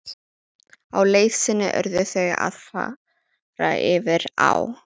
Á leið sinni urðu þau að fara yfir á.